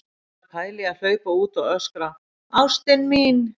Ég er að pæla í að hlaupa út og öskra: ÁSTIN MÍN!